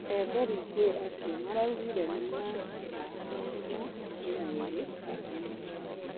Ethari ngũĩ acio maraugire nĩmahahamirwo kĩmwĩrĩ kambĩinĩ.